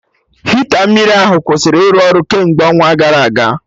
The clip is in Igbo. Hita mmiri ahụ kwụsịrị ịrụ ọrụ kemgbe ọnwa gara aga